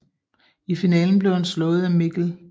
I finalen blev han slået af Mikl